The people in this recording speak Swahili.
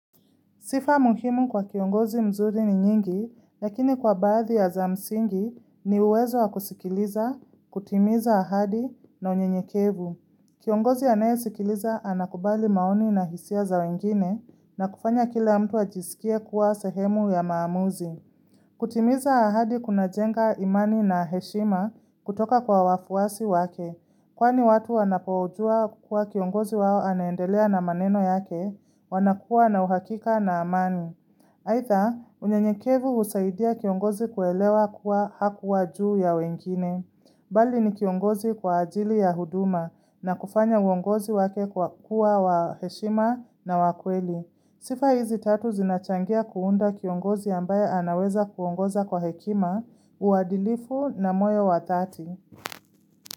Sifa muhimu kwa kiongozi mzuri ni nyingi, lakini kwa baadhi ya za msingi ni uwezo wa kusikiliza, kutimiza ahadi na unyenyekevu. Kiongozi anayesikiliza anakubali maoni na hisia za wengine na kufanya kila mtu ajisikie kuwa sehemu ya maamuzi. Kutimiza ahadi kunajenga imani na heshima kutoka kwa wafuasi wake. Kwani watu wanapojua kukua kiongozi wao anaendelea na maneno yake, wanakua na uhakika na amani. Haidha, unyenyekevu husaidia kiongozi kuelewa kuwa hakuwa juu ya wengine. Bali ni kiongozi kwa ajili ya huduma na kufanya uongozi wake kuwa wa heshima na wa kweli. Sifa hizi tatu zinachangia kuunda kiongozi ambaye anaweza kuongoza kwa hekima, uadhilifu na moyo wa dhati.